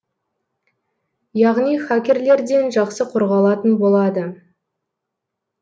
яғни хакерлерден жақсы қорғалатын болады